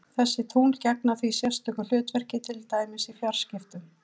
Þessi tungl gegna því sérstökum hlutverkum, til dæmis í fjarskiptum.